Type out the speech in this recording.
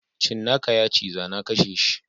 Cinnaka yaciza nakasheshi.